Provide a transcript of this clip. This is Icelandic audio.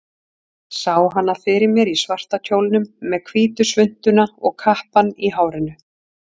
Sá hana fyrir mér í svarta kjólnum, með hvítu svuntuna og kappann í hárinu.